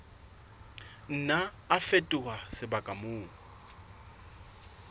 nna a fetoha sebaka moo